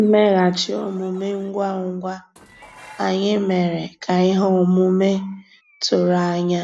Mmèghàchị́ òmùmé ngwá ngwá ànyị́ mérè ká íhé òmùmé tụ̀rụ̀ ànyá